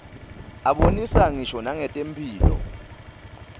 abonisa ngisho nangetemphilo